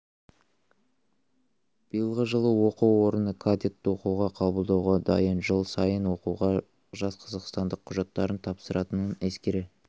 биылғы жылы оқу орны кадетті оқуға қабылдауға дайын жыл сайын оқуға жас қазақстандық құжаттарын тапсыратынын ескере